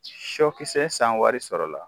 Sɔkisɛ sanwari sɔrɔla